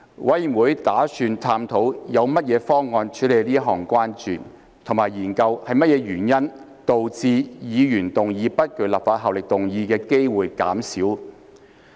委員會打算探討有何方案處理此項關注，以及研究是甚麼原因導致議員動議不具立法效力議案的機會減少。